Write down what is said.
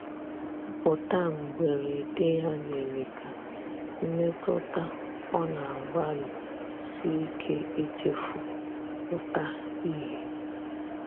Mputa mgberede ya mere ka mmetụta ọ na agbali sike ichefu pụta ihe